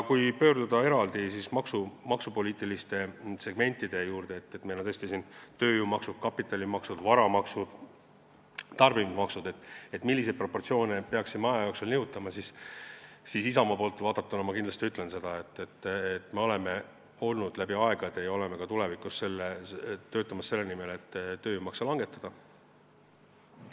Kui pöörduda eraldi maksupoliitiliste segmentide juurde – meil on tööjõumaksud, kapitalimaksud, varamaksud, tarbimismaksud – ja vaadata, milliseid proportsioone me peaksime aja jooksul nihutama, siis Isamaa poolt vaadates ma kindlasti ütlen, et me oleme läbi aegade töötanud ja töötame ka tulevikus selle nimel, et tööjõumakse langetataks.